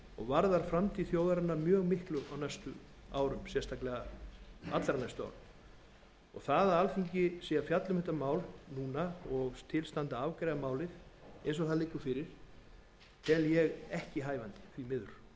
varðar framtíð þjóðarinnar mjög miklu á næstu árum sérstaklega allra næstu árum það að alþingi fjalli um þetta mál núna og til standi að afgreiða það eins og það liggur fyrir tel ég ekki við hæfi því miður